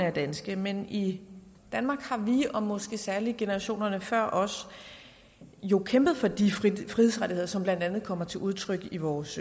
er danske men i danmark har vi og måske særlig generationerne før os jo kæmpet for de frihedsrettigheder som blandt andet kommer til udtryk i vores